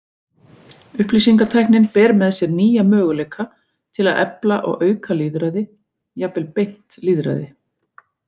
Upplýsingatæknin ber með sér nýja möguleika til að efla og auka lýðræði, jafnvel beint lýðræði.